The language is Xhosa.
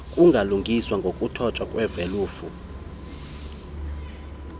kungalungiswa ngokuthotywa kwevelufa